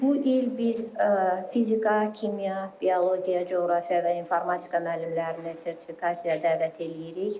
Bu il biz fizika, kimya, biologiya, coğrafiya və informatika müəllimlərini sertifikasiyaya dəvət eləyirik.